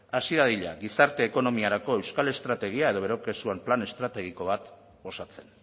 hasi dadila gizarte ekonomiarako euskal estrategia edo bere kasuan plan estrategiko bat osatzen